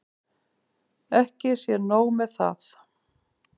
Ekki sé nóg með það.